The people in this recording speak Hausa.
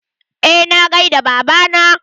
Eh na gaida baba na.